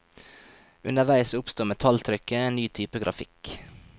Underveis oppsto metalltrykket, en ny type grafikk.